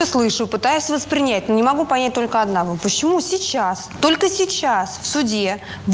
слышу пытаюсь воспринять не могу понять только одного почему сейчас только сейчас в суде